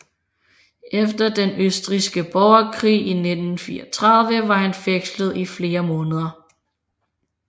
Efter den østrigske borgerkrig i 1934 var han fængslet i flere måneder